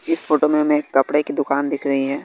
इस फोटो में हमें कपरे की दुकान दिख रही हैं।